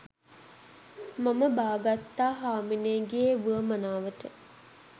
මම බාගත්තා හාමිනේගේ උවමනාවට.